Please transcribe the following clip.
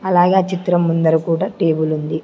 అలాగే ఆ చిత్రం ముందర కూడా టేబులుంది .